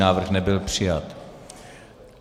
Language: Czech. Návrh nebyl přijat.